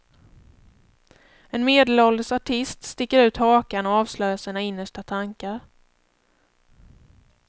En medelålders artist sticker ut hakan och avslöjar sina innersta tankar.